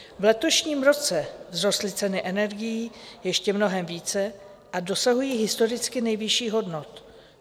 V letošním roce vzrostly ceny energií ještě mnohem více a dosahují historicky nejvyšších hodnot.